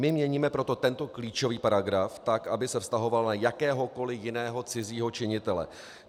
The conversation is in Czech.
My měníme proto tento klíčový paragraf tak, aby se vztahoval na jakéhokoli jiného cizího činitele.